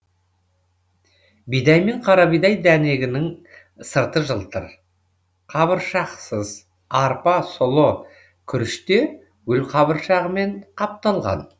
бидай мен қарабидай дәнегінің сырты жылтыр қабыршақсыз арпа сұлы күріште гүлқабыршағымен қапталған